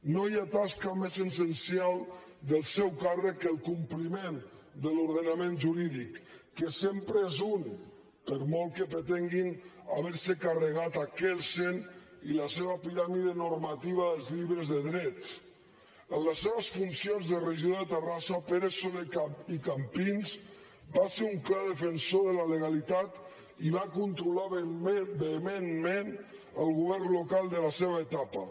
no hi ha tasca més essencial del seu càrrec que el compliment de l’ordenament jurídic que sempre és un per molt que pretenguin haver se carregat kelsen i la seva piràmide normativa dels llibres de dret en les seves funcions de regidor de terrassa pere soler i campins va ser un clar defensor de la legalitat i va controlar vehementment el govern local de la seva etapa